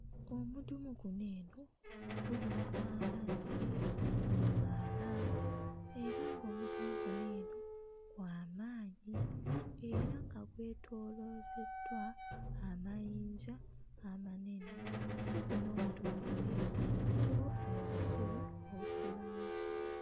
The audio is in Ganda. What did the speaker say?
Omudumu guno eno guyiwa amazzi mu mwala era ng'omudumu guno eno gw'amaanyi era nga gwetooloozeddwa amayinja amanene, kumpi n'omudumu guno eno waliwo ebisubi ebikulawo.